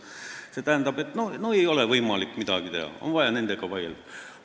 See tähendab, et ei ole võimalik midagi teha, on vaja nendega vaielda.